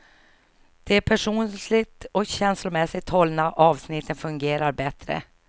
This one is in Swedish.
De personligt och känslomässigt hållna avsnitten fungerar bättre.